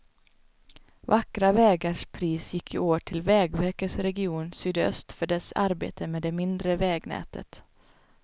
Vackra vägars pris gick i år till vägverkets region sydöst för dess arbete med det mindre vägnätet.